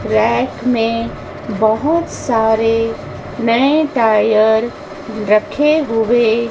rack में बहोत सारे नए टायर रखे हुए--